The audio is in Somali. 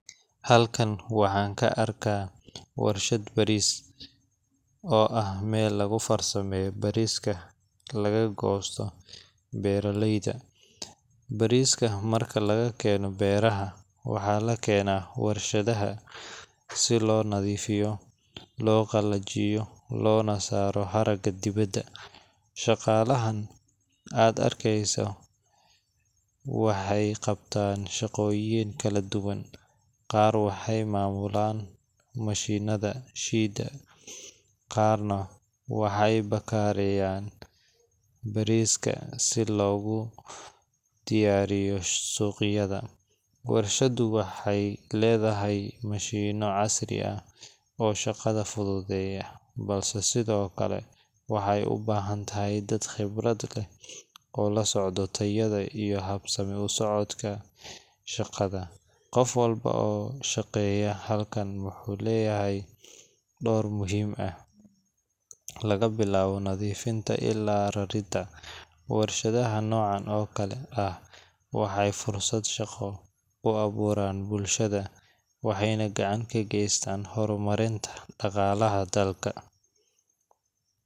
Halkan waxaan ka aragnaa warshad bariis, oo ah meel lagu farsameeyo bariiska laga goosto beeraleyda. Bariiska marka laga keeno beeraha, waxaa la keenaa warshadaha si loo nadiifiyo, loo qalajiyo, loona saaro haragga dibadda. Shaqaalahan aad arkaysid waxay qabtaan shaqooyin kala duwan qaar waxay maamulaan mashiinnada shiida, qaarna waxay baakadeeyaan bariiska si loogu diyaariyo suuqyada. Warshaddu waxay leedahay mashiinno casri ah oo shaqada fududeeya, balse sidoo kale waxay u baahan tahay dad khibrad leh oo la socda tayada iyo habsami u socodka shaqada. Qof walba oo ka shaqeeya halkan wuxuu leeyahay door muhiim ah, laga bilaabo nadiifinta ilaa raridda. Warshadaha noocan oo kale ah waxay fursado shaqo u abuuraan bulshada, waxayna gacan ka geystaan horumarinta dhaqaalaha dalka.